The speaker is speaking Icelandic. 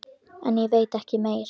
En ég veit ekki meir.